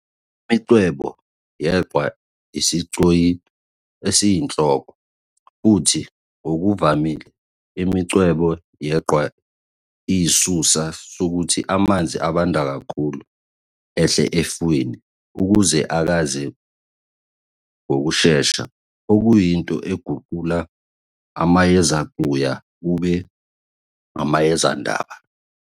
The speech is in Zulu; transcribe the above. Imincwebe yeqhwa iyisigcoyi esiyinhloko, futhi ngokuvamile, imincwebe yeqhwa iyisisusa sokuthi amanzi abanda kakhulu ehle efwini ukuze akhaze ngokushesha, okuyinto eguqula amayezecuya kube amayezenaba.